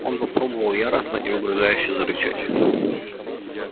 он попробовал яростно и угрожающе зарычать